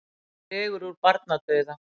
Dregur úr barnadauða